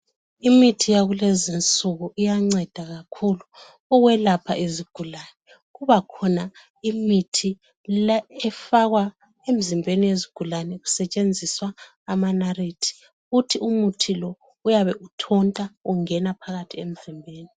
Imithi yakulezi insuku iyanceda kakhulu okwelapha izigulane. Kubakhona imithi le efakwa emizimbeni yezigulane kusetshenziswa amanarithi. Uthi umuthi lo uyabe uthonta ungena phakathi emzimbeni.